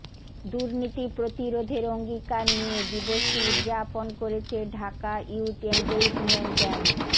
দুর্নীতি প্রতিরোধের অঙ্গীকার নিয়ে দিবসটি উদযাপন করেছে ঢাকা ইয়ুথ এনগেইজমেন্ট এ্যান্ড